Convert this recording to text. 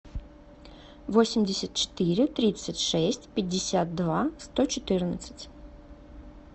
восемьдесят четыре тридцать шесть пятьдесят два сто четырнадцать